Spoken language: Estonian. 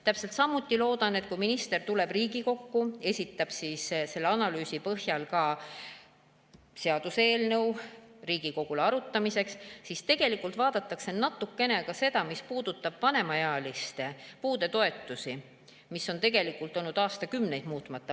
Täpselt samuti loodan, et kui minister tuleb Riigikokku, esitab selle analüüsi põhjal ka seaduseelnõu Riigikogule arutamiseks, siis vaadatakse natukene ka seda, mis puudutab vanemaealiste puudetoetusi, mis on tegelikult olnud aastakümneid muutmata.